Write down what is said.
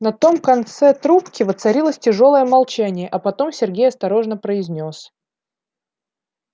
на том конце трубке воцарилось тяжёлое молчание а потом сергей осторожно произнёс